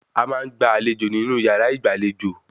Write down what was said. A máa ń gba àlejò nínú yàrá ìgbàlejò